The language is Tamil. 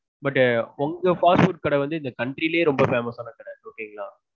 but உங்க fast food கடை வந்து இந்த country லயே ரொம்ப famous ஆன கடை okay ங்களா?